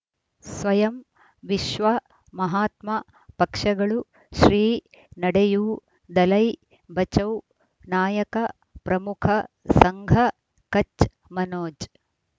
ಸ್ವಯಂ ವಿಶ್ವ ಮಹಾತ್ಮ ಪಕ್ಷಗಳು ಶ್ರೀ ನಡೆಯೂ ದಲೈ ಬಚೌ ನಾಯಕ ಪ್ರಮುಖ ಸಂಘ ಕಚ್ ಮನೋಜ್